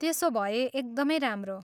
त्यसो भए एकदमै राम्रो!